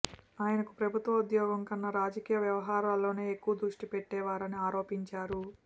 ఆయనకు ప్రభుత్వ ఉద్యోగం కన్నా రాజకీయ వ్యవహారాల్లోనే ఎక్కువ దృష్టిపెట్టేవారని ఆరోపించారు